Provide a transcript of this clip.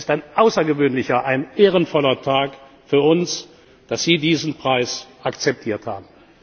Es ist ein außergewöhnlicher, ein ehrenvoller Tag für uns, dass Sie diesen Preis akzeptiert